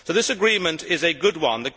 So this agreement is a good one